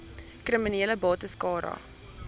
kriminele bates cara